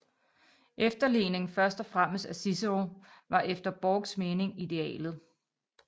Efterligning først og fremmest af Cicero var efter Borchs mening idealet